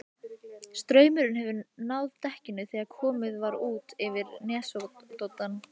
Straumurinn hefur náð dekkinu þegar komið var út fyrir nesoddann.